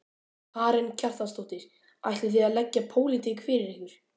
Karen Kjartansdóttir: Ætlið þið að leggja pólitík fyrir ykkur?